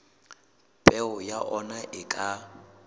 peo ya ona e ka